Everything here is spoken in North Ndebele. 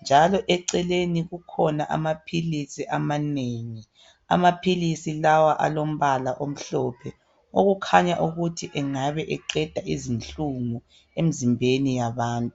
njalo eceleni kukhona amaphilisi amanengi. Amaphilisi lawa alombala omhlophe okukhanya ukuthi engabe eqeda izinhlungu emizimbeni yabantu .